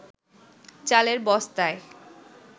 চালের বস্তায়